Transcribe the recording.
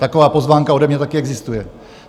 Taková pozvánka ode mě taky existuje.